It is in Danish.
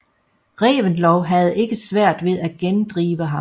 Reventlow havde ikke svært ved at gendrive ham